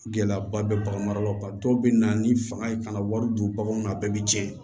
Gɛlɛyaba bɛ bagan mara la dɔw bɛ na ni fanga ye ka na wari don baganw na a bɛɛ bɛ cɛn